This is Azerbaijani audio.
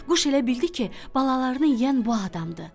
Quş elə bildi ki, balalarını yeyən bu adamdır.